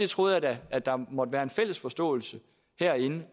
troede da at der måtte være en fælles forståelse herinde